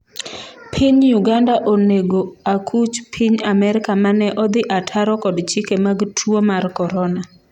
piny Uganda onego akuch Piny Amerka mane odhi ataro kod chike mag tuo mar korona